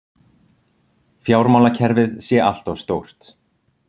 Fjármálakerfið sé allt of stórt